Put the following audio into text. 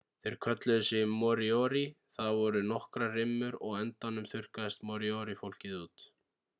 þeir kölluðu sig moriori það voru nokkrar rimmur og á endanum þurrkaðist moriori-fólkið út